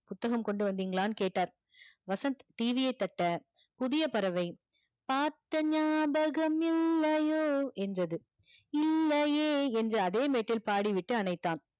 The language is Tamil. புத்தகம் கொண்டு வந்திங்கலானு கேட்டாரு வசந்த் TV ய தட்ட புதிய பறவை, பார்த்த நியாபகம் இல்லையோ என்றது இல்லையே என்ற அதே மெட்டில் பாடி விட்டு அணைதான்.